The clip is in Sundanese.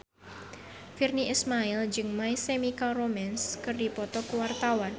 Virnie Ismail jeung My Chemical Romance keur dipoto ku wartawan